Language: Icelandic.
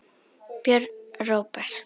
Björn Róbert.